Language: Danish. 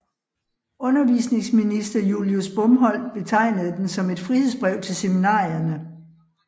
Undervisningsminister Julius Bomholt betegnede den som et frihedsbrev til seminarierne